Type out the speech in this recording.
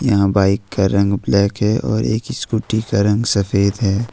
यहां बाइक का रंग ब्लैक है और एक स्कूटी का रंग सफेद है।